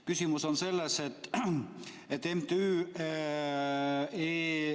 Küsimus on selles, et MTÜ ...